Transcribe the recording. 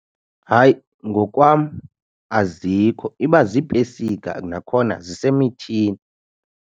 Hayi, ngokwam azikho iba ziipesika nakhona zisemithini.